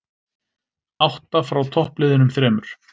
Átta frá toppliðunum þremur